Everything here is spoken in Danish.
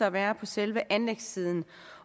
at være på selve anlægssiden